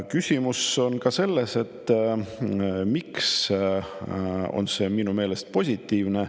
Võib küsida, miks eelnõu on minu meelest positiivne.